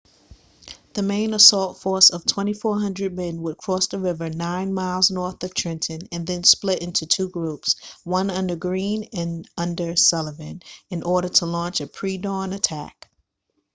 the main assault force of 2,400 men would cross the river nine miles north of trenton and then split into two groups one under greene and one under sullivan in order to launch a pre-dawn attack